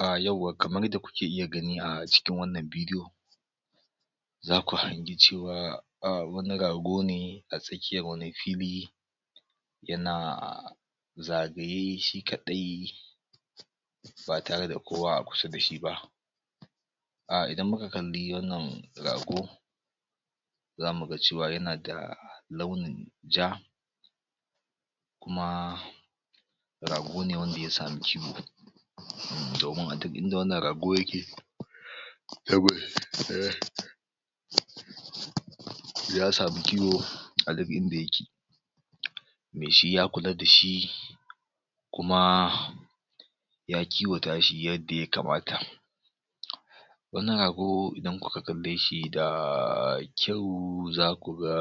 Ahh yauwa kamar yadda kuke iya gani a cikin wannan video, zaku hangi cewa wani rago ne a tsakiyar wani fili, yana zagaye shi kaɗai ba tare da kowa a kusa da shi ba. A idan muka kalli wannan rago, zamuga cewa yana da launin ja, kuma rago ne wanda ya sami kiwo domin a duk inda wannan rago yake, ya sami kiwo a duk inda yake. Meshi ya kula da shi, kuma ya kiwata shi yadda ya kamata, wannann rago idan kuka kalle shi da da kyau zaku ga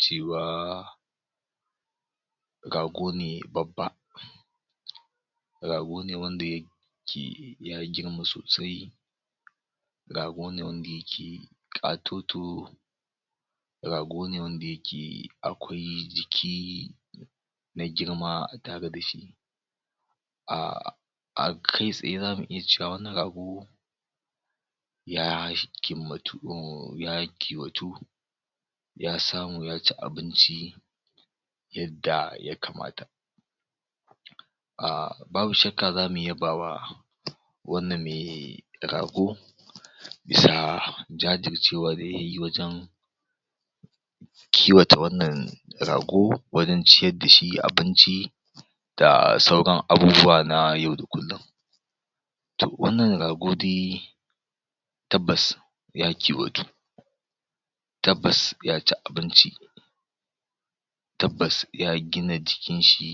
cewa rago ne babba, rago ne wanda yake ya girma sosai, rago ne wanda yake ƙatoto, rago ne wanda yake akwai jiki, na girma a tare da shi. Ahh kai tsaye za mu iya cewa wannan rago, ya kimmatu, ya kiwatu, ya samu ya ci abinci, yadda ya kamata. Ahh babu shakka za mu yabawa wannan me rago, bisa jajircewa da yayi, wajen kiwata wannan rago, wajen ciyad da shi abinci, da sauran abubuwa na yau da kullum. To wannan rago dai, tabbas, ya kiwatu, tabbas ya ci abinci, tabbas ya gina jikinshi,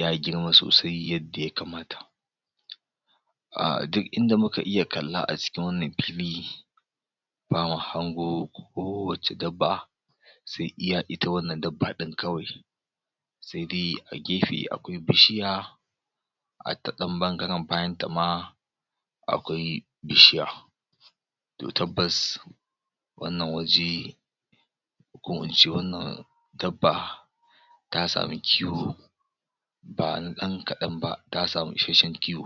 ya girma sosai yadda ya kamata. Ahh duk inda muka iya kalla a jikin wannan fili, bamu hango kowacce dabba, sai iya ita wannan dabba ɗin kawai. Sai dai a gefe akwai bishiya, a ta ɗan ɓangaren bayanta ma akwai bishiya to tabbas wannan waje, ko in ce wannan dabba, ta samu kiwo ba na ɗankalan ba, ta sami isasshen kiwo.